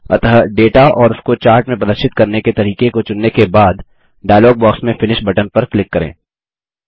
अतः डेटा और उसको चार्ट में प्रदर्शित करने के तरीके को चुनने के बाद डायलॉग बॉक्स में फिनिश बटन पर क्लिक करें